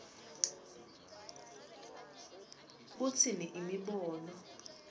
kutsini imibono